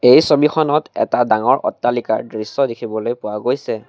এই ছবিখনত এটা ডাঙৰ অট্টালিকাৰ দৃশ্য দেখিবলৈ পোৱা গৈছে।